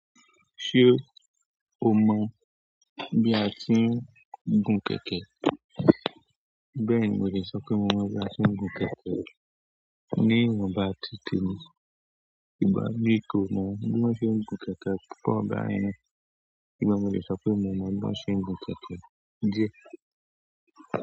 Ṣé o mọ bí a tí ń gun kẹ̀kẹ́? Bẹ́ẹ̀ni, mo lè sọ pé mo mọ̀ máa ń gun kẹ̀kẹ́. Ní iwonba ti tẹ̀mi, ìgbà mí ìkó náà, mo máa ń ṣe gun kẹ̀kẹ́. Kí pẹ́ ọ̀gá rẹ. Gbé mo lè sọ pé mo mo bi woń ṣe n gun kẹ̀kẹ́ díẹ̀.